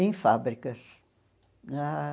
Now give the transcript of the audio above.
Em fábricas. Ah